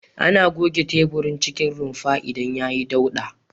Ana goge teburin cikin rumfar idan yayi dauɗa.